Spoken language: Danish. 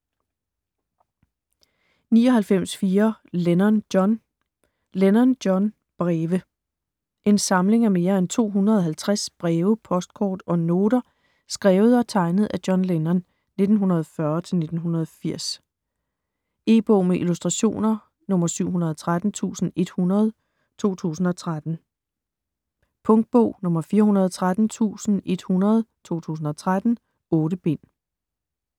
99.4 Lennon, John Lennon, John: Breve En samling af mere end 250 breve, postkort og noter skrevet og tegnet af John Lennon (1940-1980). E-bog med illustrationer 713100 2013. Punktbog 413100 2013. 8 bind.